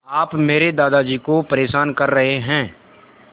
आप मेरे दादाजी को परेशान कर रहे हैं